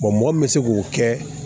mɔgɔ min bɛ se k'o kɛ